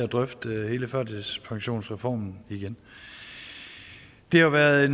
at drøfte hele førtidspensionsreformen igen det har været